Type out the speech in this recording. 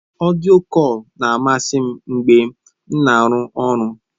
Ọdịyo kọl na-amasị m mgbe m na-arụ ọrụ.